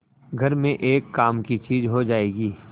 घर में एक काम की चीज हो जाएगी